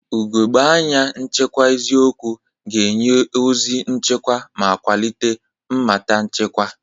Ugogbe anya nchekwa eziokwu ga-enye ozi nchekwa ma kwalite mmata nchekwa.